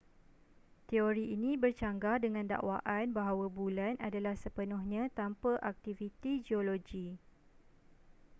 teori ini bercanggah dengan dakwaan bahawa bulan adalah sepenuhnya tanpa aktiviti geologi